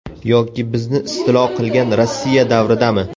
Yoki bizni istilo qilgan Rossiya davridami?